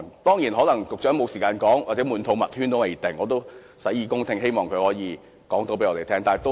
當然，局長可能沒有時間說，或"滿肚墨圈"也不一定，我也洗耳恭聽，希望他可以告訴我們。